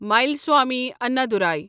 ملسوامی انندورای